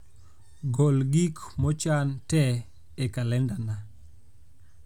gol gik mochan te e kalendana